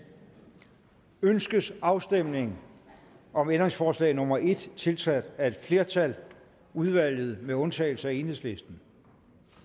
ønskes afstemning om ændringsforslag nummer en tiltrådt af et flertal udvalget med undtagelse af enhedslisten